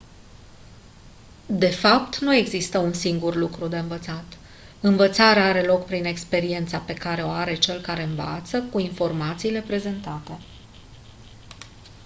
de fapt nu există un singur lucru de învățat învățarea are loc prin experiența pe care o are cel care învață cu informațiile prezentate